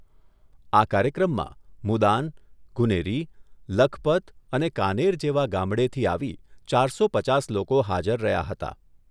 આ કાર્યક્રમમાં મુદાન, ગુનેરી, લખપત અને કાનેર જવા ગામડેથી આવી ચારસો પચાસ લોકો હાજર રહ્યા હતા.